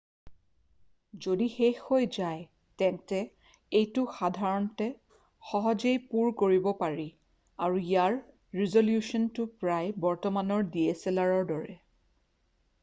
যদি শেষ হৈ যায় তেন্তে এইটো সাধাৰণতে সহজেই পূৰ কৰিব পাৰি আৰু ইয়াৰ ৰিজলিউশ্যনটো প্ৰায় বৰ্তমানৰ dslrৰ দৰে।